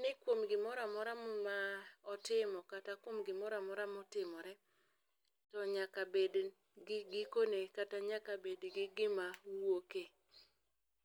ni kuom gomoramora motimo kata kuom gimoramora motimore nyaka bed gi gikone kata nyaka bed gi gima wuoke.